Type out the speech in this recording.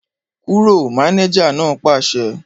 Kúrò! Mánéjà náà pàṣẹ